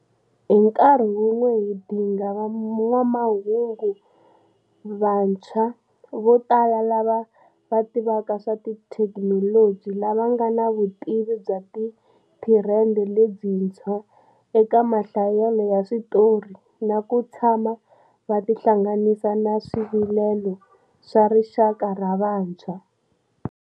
Hi nkarhi wun'we hi dinga van'wamahungu vatshwa vo tala lava va tivaka swa thekinoloji, lava va nga na vutivi bya tithirende letintshwa eka mahlayelo ya switori na kutshama va tihlanganisa na swivilelo swa rixaka ra vantshwa.